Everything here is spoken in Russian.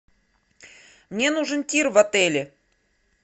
мне нужен тир в отеле